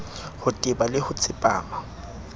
ho teba le ho tsepama